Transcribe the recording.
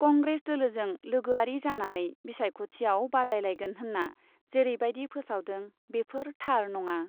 कंग्रेस दोलोजों लोगोआरि जानानै बिसायख'थियाव बादायलायगोन होन्ना जेरैबायदि फोसावदों, बेफोर थार नङा।